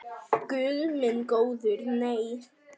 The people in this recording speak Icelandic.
Guð minn góður nei.